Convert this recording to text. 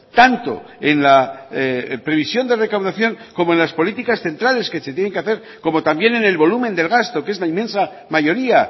tanto en la previsión de recaudación como en las políticas centrales que se tienen que hacer como también en el volumen del gasto que es la inmensa mayoría